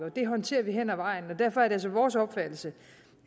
og det håndterer vi hen ad vejen derfor er det altså vores opfattelse